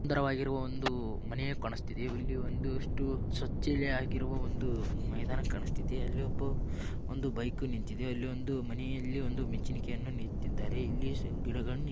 ಸುಂದರ ವಾಗಿರುವ ಒಂದು ಮನೆ ಕಾಣಿಸ್ತಿದೆ ಇಲ್ಲಿ ಒಂದು ಅಷ್ಟು ಸ್ವಚಿಲ್ ಆಗಿರೋ ಒಂದು ಮೈದಾನ ಕಾಣಿಸ್ತಿದೆ ಅಲ್ಲಿಒಬ್ಬ ಒಂದು ಬೈಕು ನಿಂತಿದೆ ಅಲ್ಲಿ ಮನೆ ಯಲ್ಲಿ ಒಂದು ಮಚಲಿಕೆಯನ್ನು ನೆತ್ತಿದ್ದಾರೆ ಇಲ್ಲಿ ಗಿಡಗಳನ್ನು --